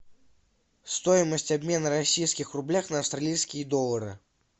стоимость обмена российских рублях на австралийские доллары